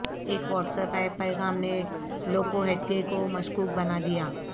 ایک WhatsApp پیغام نے لوکوہیٹگے کو مشکوک بنا دیا